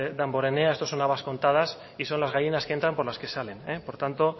damborenea esto son habas contadas y son las gallinas que entran por las que salen por tanto